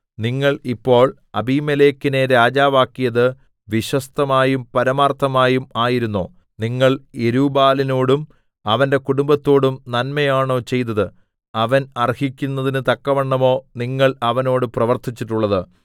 നിങ്ങൾ ഇപ്പോൾ അബീമേലെക്കിനെ രാജാവാക്കിയത് വിശ്വസ്തമായും പരമാർത്ഥമായും ആയിരുന്നോ നിങ്ങൾ യെരുബ്ബാലിനോടും അവന്റെ കുടുംബത്തോടും നന്മയാണോ ചെയ്തത് അവൻ അർഹിക്കുന്നതിന് തക്കവണ്ണമോ നിങ്ങൾ അവനോട് പ്രവർത്തിച്ചിട്ടുള്ളത്